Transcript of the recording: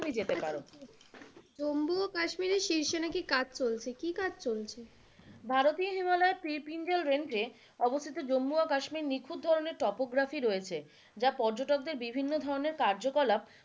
জম্মু ও কাশ্মীরের শীর্ষে নাকি কাজ চলছে, কি কাজ চলছে? ভারতীয় হিমালয়ে পীরপিঞ্জল রেঞ্জে অবস্থিত জম্মু ও কাশ্মীরে নিখুঁত ধরণের টোপোগ্রাফি রয়েছে যা পর্যটকদের বিভিন্ন ধরণের কার্যকলাপ,